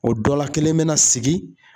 O dɔ la kelen mina sigi